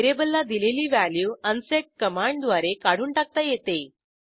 व्हेरिएबलला दिलेली value unset कमांडद्वारे काढून टाकता येते